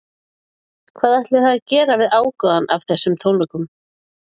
Hvað ætlið þið að gera við ágóðann af þessum tónleikum?